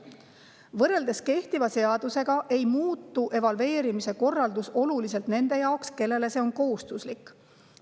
Võrreldes kehtiva seadusega ei muutu evalveerimise korraldus oluliselt nende jaoks, kellele see on kohustuslik.